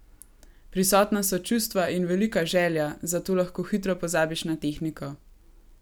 Prisotna so čustva in velika želja, zato lahko hitro pozabiš na tehniko.